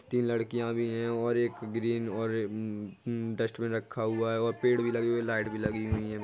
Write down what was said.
तीन लड़कियां भी है और एक ग्रीन और डस्टबीन रखा हुआ है और पैड़ भी लागी हुई लाइट भी लागी हुई।